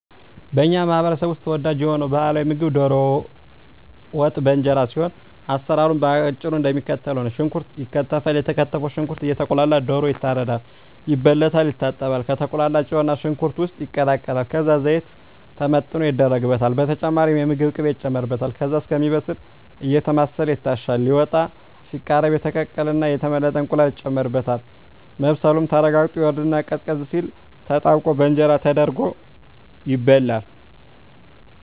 በኛ ማህበረሰብ ውስጥ ተወዳጅ የሆነው ባህላዊ ምግብ ደሮ ወጥ በእንጀራ ሲሆን አሰራሩም በአጭሩ እደሚከተለው ነው። ሽንኩርት ይከተፋል የተከተፈው ሽንኩርት እየቁላላ ደሮ ይታረዳል፣ ይበለታል፣ ይታጠባል፣ ከተቁላላው ጨውና ሽንኩርት ውስጥ ይቀላቀላል ከዛ ዘይት ተመጥኖ ይደረግበታል በተጨማሪም የምግብ ቅቤ ይጨመርበታል ከዛ እስኪበስል አየተማሰለ ይታሻል ሊወጣ ሲቃረብ የተቀቀለና የተመለጠ እንቁላል ይጨመርበትና መብሰሉ ተረጋግጦ ይወርድና ቀዝቀዝ ሲል ተጠብቆ በእንጀራ ተደርጎ ይበላል።